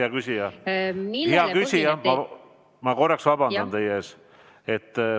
Austatud Helmen Kütt, ma vabandan teie ees!